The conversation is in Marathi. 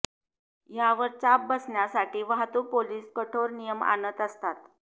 यावर चाप बसण्यासाठी वाहतूक पोलीस कठोर नियम आणत असतात